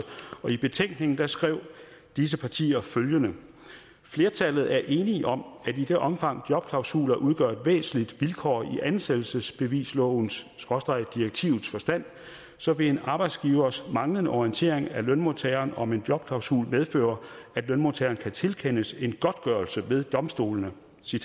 i betænkningen skrev disse partier følgende flertallet er enige om at i det omfang jobklausuler udgør et væsentligt vilkår i ansættelsesbevislovens direktivets forstand så vil en arbejdsgivers manglende orientering af lønmodtageren om en jobklausul medføre at lønmodtageren kan tilkendes en godtgørelse ved domstolene